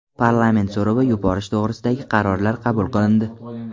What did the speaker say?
Parlament so‘rovi yuborish to‘g‘risidagi qarorlar qabul qilindi.